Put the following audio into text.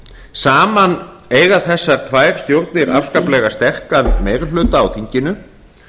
saman eiga þessar tvær stjórnir afskaplega sterkan meiri hluta á þinginu